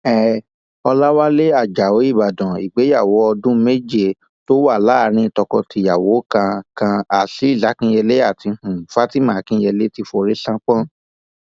um ọlàwálẹ ajáò ìbàdàn ìgbéyàwó ọọdún méje tó wà láàrin tokotìyàwó kan kan azeez akinyele àti um fatima akinyele ti forí ṣánpọn